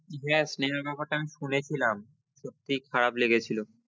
দেখ স্নেহার ব্যাপারটা আমি শুনেছিলাম সত্যি খারাপ লেগেছিলো